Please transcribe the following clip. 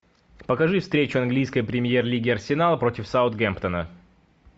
покажи встречу английской премьер лиги арсенал против саутгемптона